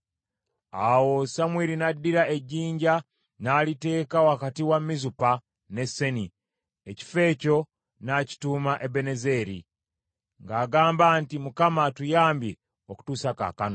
Awo Samwiri n’addira ejjinja n’aliteeka wakati wa Mizupa ne Seni, ekifo ekyo n’akituuma Ebenezeri , ng’agamba nti, “ Mukama atuyambye okutuusa kaakano.”